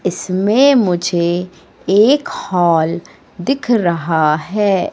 इसमें मुझे एक हॉल दिख रहा है।